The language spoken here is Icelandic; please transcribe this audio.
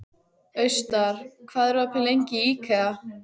Austar, hvað er lengi opið í IKEA?